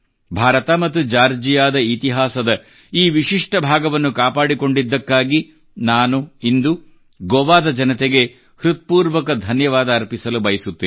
ಭಾರತ ಮತ್ತು ಜಾರ್ಜಿಯಾದ ಇತಿಹಾಸದ ಈ ವಿಶಿಷ್ಟ ಭಾಗವನ್ನು ಕಾಪಾಡಿಕೊಂಡಿದ್ದಕ್ಕಾಗಿ ನಾನು ಇಂದು ಗೋವಾದ ಜನತೆಗೆ ಹೃತ್ಪೂರ್ವಕ ಧನ್ಯವಾದ ಅರ್ಪಿಸಲು ಬಯಸುತ್ತೇನೆ